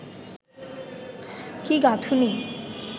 কি গাঁথুনি